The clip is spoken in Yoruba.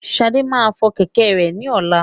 Ṣadé máa fọ kẹ̀kẹ́ rẹ ní ọlá.